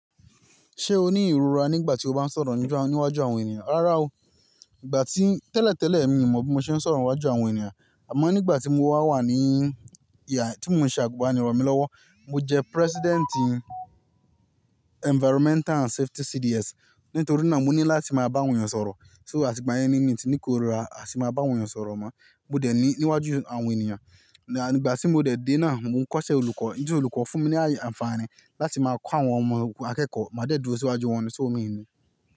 Ṣé o ní ìrora nígbà tí o bá ń sọ̀rọ̀ níwájú àwọn ènìyàn? Rárá o, ìgbà tí tẹ́lẹ̀tẹ́lẹ̀ mi mọ bí mo ṣe ń sọ̀rọ̀ níwájú àwọn ènìyàn. Àmọ́ nígbà tí mo wá wà ní, tí mò ń ṣe àgùnbánirọ̀ mi lọ́wọ́, mo jẹ president Environmental and Safety CDS. Nítorí náà mo ní láti máa bá àwọn ènìyàn sọ̀rọ̀. So àti ìgbà yẹn ni mí ti ní korira. A sì máa bá àwọn ènìyàn sọ̀rọ̀ mọ́. Mo dẹ̀ ni ní wájú àwọn ènìyàn. À ní ìgbà tí mo dẹ̀ dé náà, mo ń kọ́ṣẹ́ olùkọ́. Ju olùkọ́ fún mi ní àǹfààní láti máa kọ́ àwọn ọmọ akẹ́kọ̀ọ́. Máa dẹ̀ dúró síwájú wọn so mi ni.